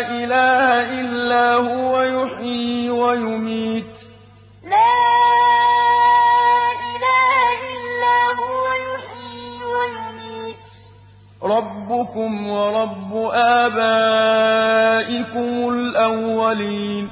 إِلَٰهَ إِلَّا هُوَ يُحْيِي وَيُمِيتُ ۖ رَبُّكُمْ وَرَبُّ آبَائِكُمُ الْأَوَّلِينَ لَا إِلَٰهَ إِلَّا هُوَ يُحْيِي وَيُمِيتُ ۖ رَبُّكُمْ وَرَبُّ آبَائِكُمُ الْأَوَّلِينَ